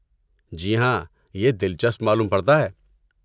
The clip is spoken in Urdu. جی ہاں، یہ دلچسپ معلوم پڑتا ہے۔!